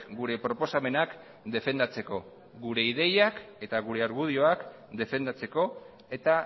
gure proposamenak defendatzeko gure ideiak eta gure argudioak defendatzeko eta